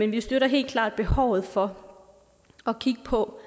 vi støtter helt klart behovet for at kigge på